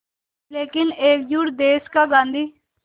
लेकिन एकजुट देश का गांधी